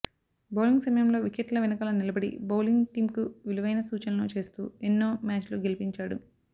bowling సమయంలో వికెట్ల వెనుకాల నిలబడి బౌలింగ్ టీమ్కు విలువైన సూచనలు చేస్తూ ఎన్నో మ్యచ్లు గెలిపించాడు